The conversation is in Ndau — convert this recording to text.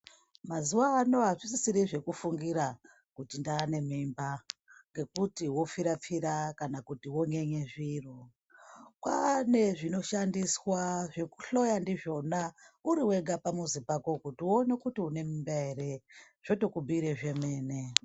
Mazuwano azvisisiri zvekufungira kuti ndaane mimba ,ngekuti wopfira -pfira kana wonyenye zviro . Kwaane zvinoshandiswa zvekuhloya ndizvona uriwega pamuzi pako kuti uone kuti une mimba ere ,zvotokubhiire zvemene.